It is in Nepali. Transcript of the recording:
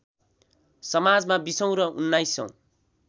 समाजमा बिसौँ र उन्नाइसौँ